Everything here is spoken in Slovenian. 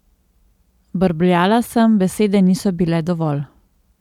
Brbljala sem, besede niso bile dovolj.